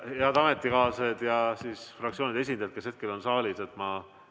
Head ametikaaslased ja fraktsioonide esindajad, kes hetkel on saalis!